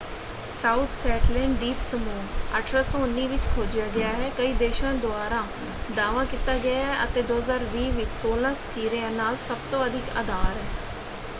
South Shetland ਦੀਪ ਸਮੂਹ 1819 ਵਿੱਚ ਖੋਜਿਆ ਗਿਆ ਹੈ ਕਈ ਦੇਸ਼ਾਂ ਦੁਆਰਾ ਦਾਅਵਾ ਕੀਤਾ ਗਿਆ ਹੈ ਅਤੇ 2020 ਵਿੱਚ ਸੌਲਾਂ ਸਕਿਰਿਆ ਨਾਲ ਸਭਤੋਂ ਅਧਿਕ ਆਧਾਰ ਹੈ।